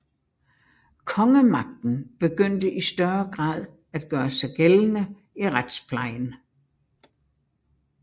Kongemagten begyndte i større grad at gøre sig gældende i retsplejen